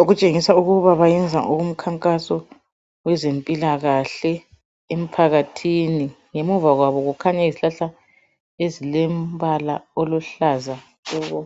okutshengisa ukuba bayenza okomkhankaso wezempilakahle emphakathini. Ngemuva kwabo kukhanya izihlahla ezilembala oluhlaza tshoko.